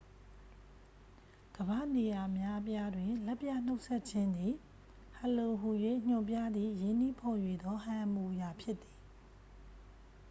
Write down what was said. "ကမ္ဘာ့နေရာ အများအပြားတွင် လက်ပြနှုတ်ဆက်ခြင်းသည် "ဟယ်လို" ဟူ၍ ညွှန်ပြသည့် ရင်းနှီးဖော်ရွှေသော ဟန်အမူအရာဖြစ်သည်။